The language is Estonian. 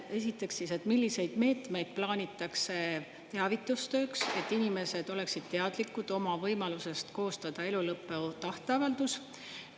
Esiteks, milliseid meetmeid plaanitakse teavitustööks, et inimesed oleksid teadlikud oma võimalusest koostada elulõpu tahteavaldus?